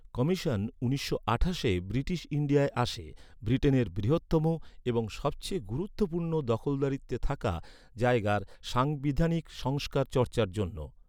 Commission উনিশশো আঠাশে British ইন্ডিয়ায় আসে, ব্রিটেনের বৃহত্তম এবং সবচেয়ে গুরুত্বপূর্ণ দখলদারিত্বে থাকা জায়গার সাংবিধানিক সংস্কার চর্চার জন্য।